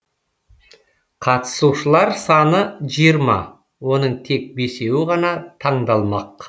қатысушылар саны жиырма оның тек бесеуі ғана таңдалмақ